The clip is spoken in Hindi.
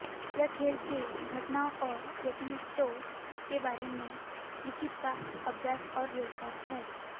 यह खेल के घटनाओं और एथलीटों के बारे में लिखने का अभ्यास और व्यवसाय है